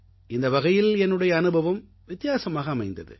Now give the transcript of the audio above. இந்த வகையில் என்னுடைய அனுபவம் வித்தியாசமாக அமைந்தது